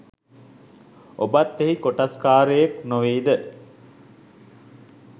ඔබත් එහි කොටස්කාරයෙක් නොවෙයිද?